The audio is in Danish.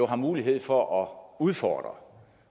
har mulighed for at udfordre